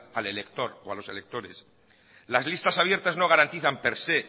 al elector o a los electores las listas abiertas no garantizan per se